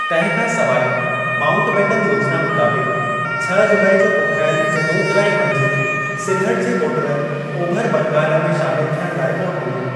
तंहिं खां सवाइ माउन्टबेटन योजना मुताबिक़, छह जुलाई जो कोठाइल हिक लोकराइ मंझि सिलहट जे वोटरनि ओभर बंगाल में शामिलु थियण लाइ वोट ॾिनो।